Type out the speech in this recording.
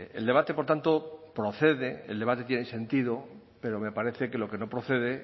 el debate por tanto procede el debate tiene sentido pero me parece que lo que no procede